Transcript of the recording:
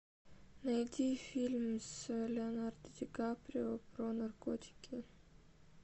найди фильм с леонардо ди каприо про наркотики